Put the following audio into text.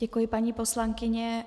Děkuji, paní poslankyně.